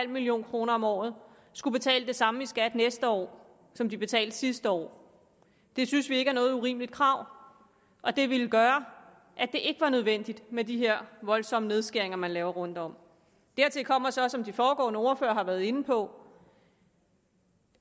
million kroner om året skulle betale det samme i skat næste år som de betalte sidste år det synes vi ikke er noget urimeligt krav og det ville gøre at det ikke var nødvendigt med de her voldsomme nedskæringer man laver rundtom dertil kommer så som de foregående ordførere har været inde på